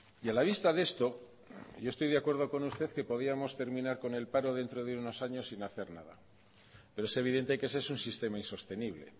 y a la vista de esto yo estoy de acuerdo con usted que podíamos terminar con el paro dentro de unos años sin hacer nada pero es evidente que ese es un sistema insostenible